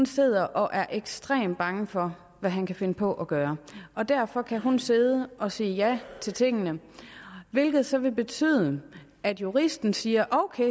sidder og er ekstremt bange for hvad han kan finde på at gøre derfor kan hun sidde og sige ja til tingene hvilket så vil betyde at juristen siger ok